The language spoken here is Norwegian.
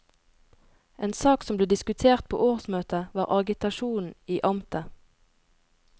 En sak som ble diskutert på årsmøtet, var agitasjonen i amtet.